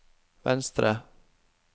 venstre